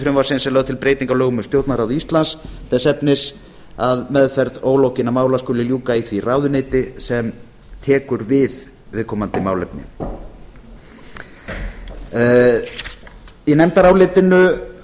frumvarpsins er lögð til breyting á lögum um stjórnarráð íslands þess efnis að meðferð ólokinna mála skuli ljúka í því ráðuneyti sem tekur við viðkomandi málefni í nefndarálitinu